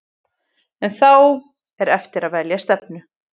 En þá er eftir að velja stefnu.